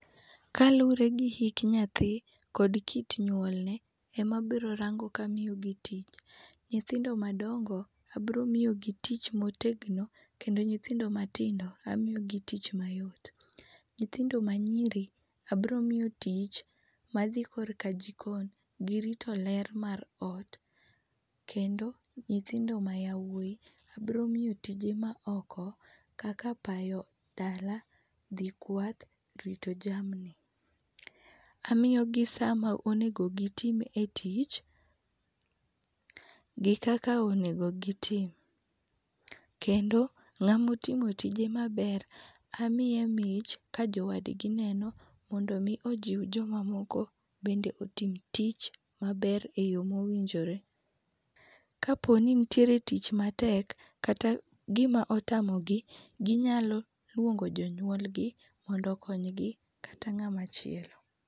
Kaluore gi hik nyathi gi kit nyuol ne ema abiro rango kaka amiyo gi tich. Nyithindo madongo abroo miyogi tich motegno kendo nyithindo matindo abiro miyogi tich ma yom. Nyithindo ma nyiri abro miyo tich madhi korka jikon gi rito ler mar ot kendo nyithindo ma yawuoy abro miyo tije ma oko kaka payo dala, dhi kwath ,rito jamni. Amiyogi sama onego gitim e tich gi kaka onego gitim kendo ngama otimo tije maber amiye mich ka jowadgi neno mondo omi ojiw joma moko bende otim tich maber e yoo ma owinjore. Kaponi nitiere tich matek kata gima otamogi ginyalo luongo jonyuolgi mondo okonygi kata ngama chielo